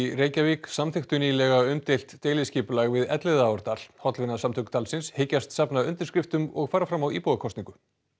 Reykjavík samþykktu nýlega umdeilt deiliskipulag við Elliðaárdal hollvinasamtök dalsins hyggjast safna undirskriftum og fara fram á íbúakosningu